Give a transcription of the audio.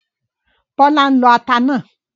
Bọ́lá ń lọ ata náà